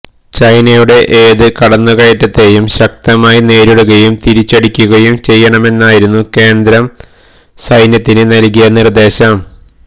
ചൈനയുടെ ഏത് കടന്നുകയറ്റത്തെയും ശക്തമായി നേരിടുകയും തിരിച്ചടിക്കുകയും ചെയ്യണമെന്നായിരുന്നു കേന്ദ്രം സൈന്യത്തിന് നൽകിയ നിർദേശം